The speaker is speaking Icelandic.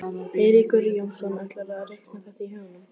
Eiríkur Jónsson: ætlarðu að reikna þetta í huganum?